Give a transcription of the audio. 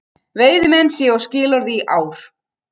Veiðimenn séu á skilorði í ár